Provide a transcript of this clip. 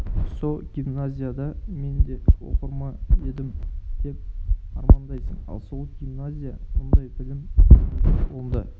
со гимназияда мен де оқыр ма едім деп армандайсың ал сол гимназия мұндай білім бермейді онда